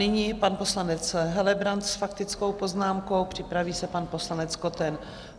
Nyní pan poslanec Helebrant s faktickou poznámkou, připraví se pan poslanec Koten.